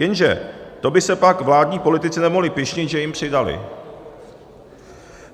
Jenže to by se pak vládní politici nemohli pyšnit, že jim přidali.